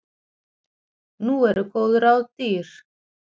Nú eru góð ráð dýr.